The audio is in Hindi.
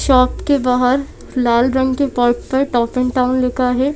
शॉप के बाहर लाल रंग के पॉट पर टॉप इन टाउन लिखा है।